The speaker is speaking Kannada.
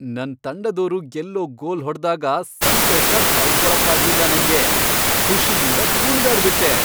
ನನ್ ತಂಡದೋರು ಗೆಲ್ಲೋ ಗೋಲ್ ಹೊಡ್ದಾಗ ಸಂತೋಷ ತಡ್ಕೊಳಕ್ಕಾಗ್ಲಿಲ್ಲ ನಂಗೆ, ಖುಷಿಯಿಂದ ಕುಣ್ದಾಡ್ಬಿಟ್ಟೆ.